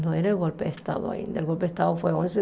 Não era o golpe de estado ainda. O golpe de estado foi onze